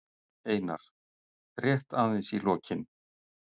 Einar: Rétt aðeins í lokin.